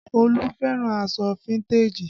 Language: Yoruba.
Olu fẹ́ràn aṣọ fíntèjì